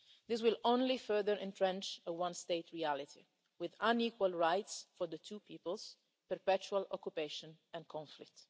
This will only further entrench a one state reality, with unequal rights for the two peoples, perpetual occupation and conflict.